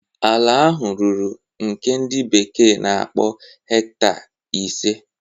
Ala ahụ ruru nke ndi bekee na-akpọ hecta ise.